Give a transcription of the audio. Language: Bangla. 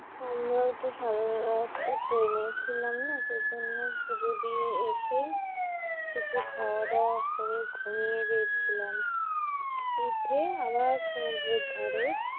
আমরা ও সারা রাস্তা ট্রেনে ছিলাম না, পূজো দিয়ে এসেই কিছু খাওয়া দাওয়া করে ঘুমিয়ে গিয়েছিলাম উঠে আবার সমুদ্রের ধারে